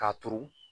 K'a turu